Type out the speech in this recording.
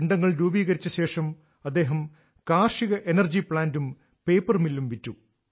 പിണ്ഡങ്ങൾ രൂപീകരിച്ച ശേഷം അദ്ദേഹം കാർഷിക എനർജി പ്ലാന്റും പേപ്പർ മില്ലും വിറ്റു